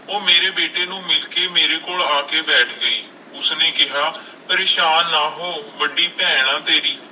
ਉਹ ਮੇਰੇ ਬੇਟੇ ਨੂੰ ਮਿਲ ਕੇ ਮੇਰੇ ਕੋਲ ਆ ਕੇ ਬੈਠ ਗਈ ਉਸਨੇ ਕਿਹਾ ਪਰੇਸਾਨ ਨਾ ਹੋ ਵੱਡੀ ਭੈਣ ਹਾਂ ਤੇਰੀ।